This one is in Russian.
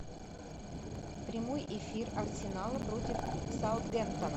прямой эфир арсенала против саутгемптона